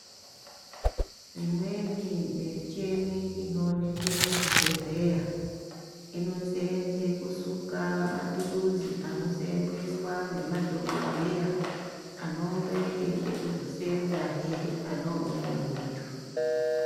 Imweni micheni inoonekwe muzvibhedhleya, inoseenze kusuka mathuluzi anoseenzeswa ngemadhogodheya anonge eide kuzoseenzahe pane umweni muntu.